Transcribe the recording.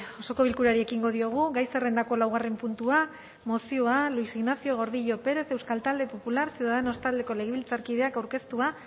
osoko bilkurari ekingo diogu gai zerrendako laugarren puntua mozioa luis ignacio gordillo pérez euskal talde popular ciudadanos taldeko legebiltzarkideak aurkeztua